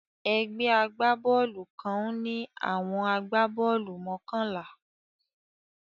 Egbé agbá-boolù kan ń ní àwọn agbá-boolù mokànlá